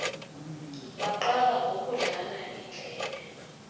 baqala ngokudlana iindlebe